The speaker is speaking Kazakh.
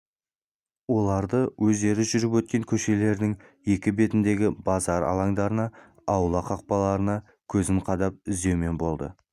оларды өздері жүріп өткен көшелердің екі бетіндегі базар алаңдарына аула қақпаларына көзін қадап іздеумен болды